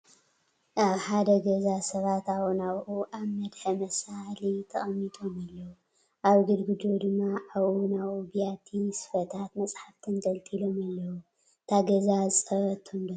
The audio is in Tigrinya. ኣብ ሓደ ገዛ ሰባት ኣብኡ ናብኡ ኣብ መድሐ መሳሊ ተቐሚጦም ኣለዉ፡፡ ኣብ ግድግድኡ ድማ ኣብኡ ናብኡ ቢያቲ፣ ስፈታት፣ መፃሕፍቲ ተንጠልጢሎም ኣለዉ፡፡ እታ ገዛ ዝፀበበቶም ዶ ትመስል